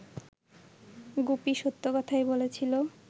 গুপি সত্য কথাই বলেছিল